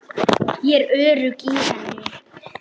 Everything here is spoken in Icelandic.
Ég er örugg í henni.